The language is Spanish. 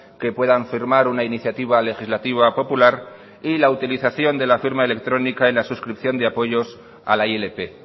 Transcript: que puedan firmar una iniciativa legislativa popular y la utilización de la firma electrónica en la suscripción de apoyos a la ilp